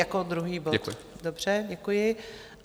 Jako druhý bod, dobře, děkuji.